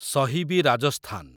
ସହିବି Rajasthan